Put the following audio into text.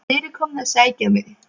Þeir eru komnir að sækja mig.